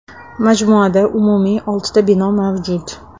Majmuada umumiy oltita bino mavjud.